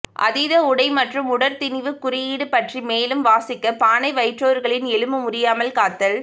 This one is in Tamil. அதீத உடை மற்றும் உடற் திணிவுக் குறியீடு பற்றி மேலும் வாசிக்க பானை வயிற்றோர்களின் எலும்பு முறியாமல் காத்தல்